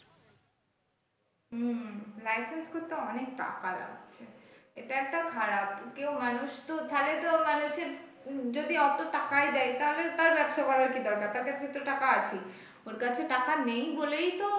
হম licence করতে অনেক টাকা লাগছে এটা একটা খারাপ কেউ মানুষ তো তাহলে তো মানুষের যদি অত টাকায় দেয় তাহলে তার ব্যবসা করার কি দরকার তার কাছে তো টাকা আছেই ওর কাছে টাকা নেই বলেই তো,